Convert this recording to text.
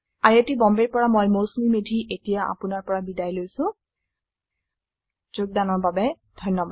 I I T Bombay ৰ পৰা মই মৌচুমী মেধী এতিয়া আপুনাৰ পৰা বিদায় লৈছো যোগদানৰ বাবে ধন্যবাদ